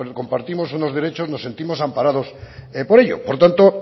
compartimos unos derechos nos sentimos amparado por ello por tanto